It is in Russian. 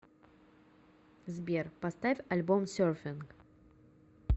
сбер поставь альбом серфинг